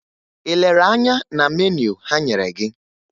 Ị lere anya na meniu ha nyere gị?